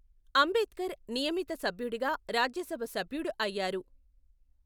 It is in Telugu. అంబేద్కర్ నియమిత సభ్యుడిగా, రాజ్యసభ సభ్యుడు అయ్యారు.